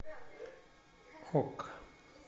хок